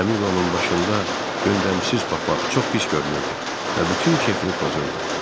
Kamilo'nun başında yündəmsiz papaq çox pis görünürdü və bütün kefini pozurdu.